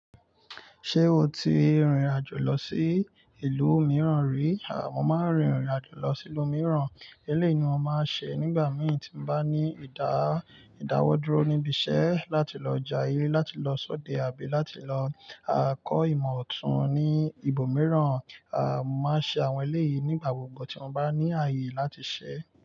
Ṣé o ti rìnrìn àjò lọ sí ìlú mìíràn rí? À, mo máa ń rìnrìn àjò lọ sí ìlú mìíràn. Eléyìí ni mo máa ń ṣe nígbà mìi tí n bá ní ìdá ìdáwọ́ dúró níbi iṣẹ́ láti lọ ja yé, láti lọ ṣọ́de, àbí láti lọ kọ́ ìmọ̀ ọ̀tún ní ibòmíràn. À, mọ máa ń ṣe àwọn eléyìí nígbà gbogbo tí wọ́n bá ní ààyè láti ṣẹ́.